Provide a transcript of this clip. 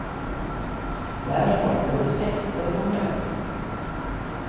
Där har de både fester och möten.